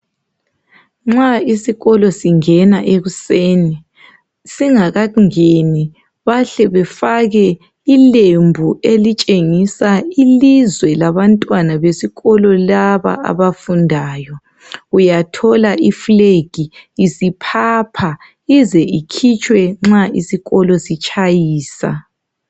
Nxa isikolo singena ekuseni, singakangeni bahle befake ilembu elitshengisa ilizwe labantwana besikolo laba abafundayo. Uyathola ifilagi isiphapha ize ikhitshwe nxa isikolo sitshayisa.